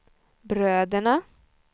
bröderna